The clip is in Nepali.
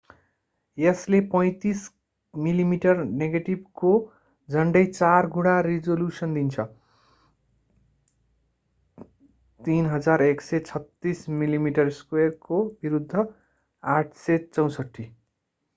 यसले 35 मिलिमिटर नेगेटिभको झन्डै चार गुणा रिजोल्युसन दिन्छ 3136 mm2 को विरूद्ध 864।